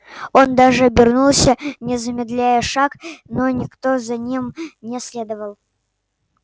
он даже обернулся не замедляя шаг но никто за ним не следовал